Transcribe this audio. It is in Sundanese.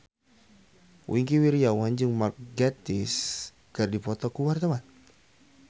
Wingky Wiryawan jeung Mark Gatiss keur dipoto ku wartawan